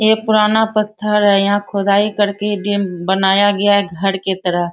ये पुराना पत्थर है यहाँ खुदाई करके बनाया गया है घर के तरह --